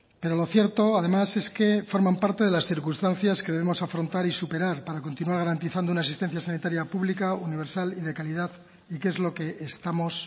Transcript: pero lo cierto además es que forman parte de las circunstancias que debemos afrontar y superar para continuar garantizando una asistencia sanitaria pública universal y de calidad y que es lo que estamos